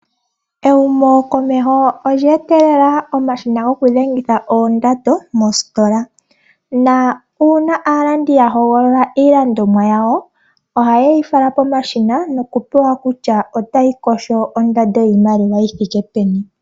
Ehumo komeho olye etelela omashina gokudhengitha oondando moositola, na uuna aalandi yahogolola iilandomwa yawo oha yeyi fala pomashina noku pewa kutya otayi kosho ondando yiimaliwa yithike peni.